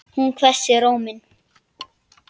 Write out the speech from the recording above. Hún hvessir róminn.